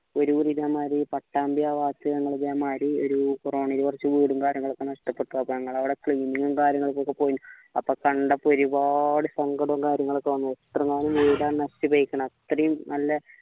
പട്ടാമ്പി ആ ഭാഗത്ത് ഞമ്മള് ഇതേമാരി ഒരു കുറച്ച് വീടും കാര്യങ്ങളൊക്കെ നഷ്ടപ്പെട്ട് അപ്പോ ഞങ്ങൾ അവിടെ cleaning കാര്യങ്ങളൊക്കെ പോയിന് അപ്പോ കണ്ടപ്പോൾ ഒരുപാട് സങ്കടവും കാര്യങ്ങളൊക്കെ വന്നു എത്ര നല്ല വീട നശിച്ചുപോയിക്കണ അത്രയും നല്ല